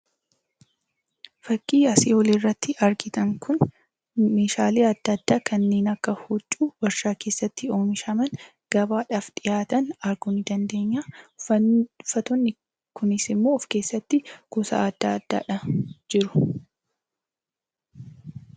Fakkiin asii oliirratti argitan kun meeshaalee adda addaa kanneen akka huccuu warshaa keessatti oomishaman gabaadhaaf dhiyaatan arguu ni dandeenya. Uffanni, uffatoonni kunisimmoo of keessatti gosa adda addaadhaan jiru.